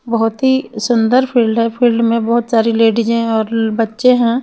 बहुतही सुंदर फील्ड है फील्ड में बहुतसारी लेडीज है और बच्चे है.